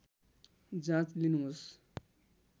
जाँच लिनुहोस्